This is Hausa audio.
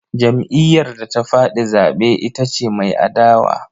Jam'iyyar da ta faɗi zaɓe ita ce mai adawa.